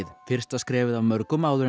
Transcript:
fyrsta skrefið af mörgum áður en